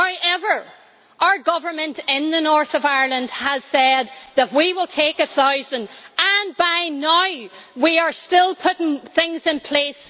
However, our government in the north of Ireland has said that we will take a thousand, and by now we are still putting things in place.